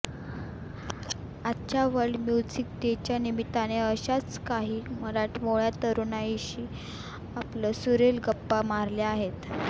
आजच्या world music डेच्या निमित्ताने अशाच काही मराठमोळ्या तरुणाईशी आपण सुरेल गप्पा मारल्या आहेत